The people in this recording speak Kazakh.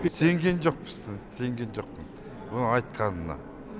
сенген жоқпыз сенген жоқпын ол айтқанына